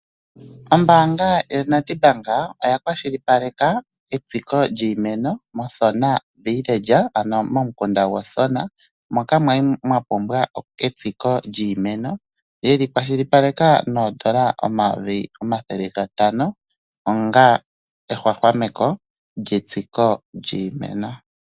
Ombaanga yoNedBank oya kwashilipaleka etsiko lyiimeno mOsona Village ano momikunda gOsona moka mwali mwa pumbwa etsiko lyiimeno yeli kwashilipaleka noodola dhaNamibia omayovi omathele gatano onga ehwahwameko lyetsiko lyiimeno.